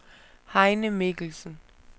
Heine Mikkelsen